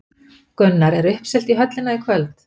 Gunnar, er uppselt í höllina í kvöld?